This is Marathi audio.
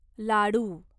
लाडू